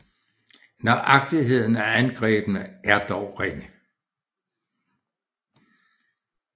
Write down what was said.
Nøjagtigheden af angrebene er dog ringe